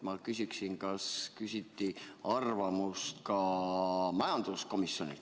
Ma küsin, kas küsiti arvamust ka majanduskomisjonilt.